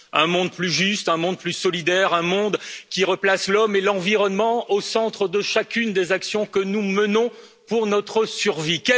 Un monde plus juste, un monde plus solidaire, un monde qui replace l'homme et l'environnement au centre de chacune des actions que nous menons pour notre survie.